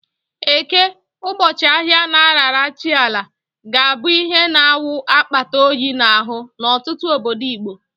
Eke, ụbọchị ahịa a na-arara chi Ala, ga-abụ ihe na-awụ akpata oyi n'ahụ n'ọtụtụ obodo Igbo.